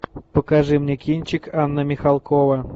покажи мне кинчик анна михалкова